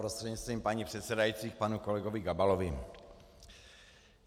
Prostřednictvím paní předsedající panu kolegovi Gabalovi.